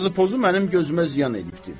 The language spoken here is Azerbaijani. Yazı-pozum mənim gözümə ziyan eləyibdir.